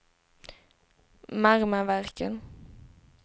Marmaverken